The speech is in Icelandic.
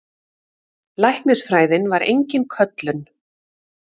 Læknisfræðin var engin köllun.